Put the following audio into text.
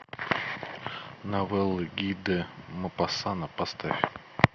новеллы ги де мопассана поставь